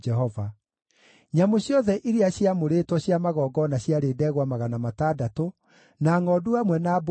Nyamũ ciothe iria ciaamũrĩtwo cia magongona ciarĩ ndegwa 600 na ngʼondu hamwe na mbũri 3,000.